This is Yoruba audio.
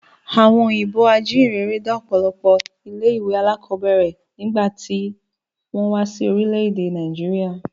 Àwọn òyìnbó ajíhìnrere dá ọ̀pọ̀lọpọ̀ ilé ìwé alákọ̀ọ́bẹ̀rẹ̀ nígbà tí wọ́n wá sí orílẹ̀ èdè Nàìjíríà